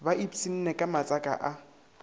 ba iphsinne ka matsaka a